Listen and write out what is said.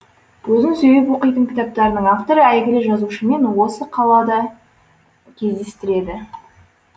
өзім сүйіп оқитын кітаптардың авторы әйгілі жазушымен осы қалада кездестіреді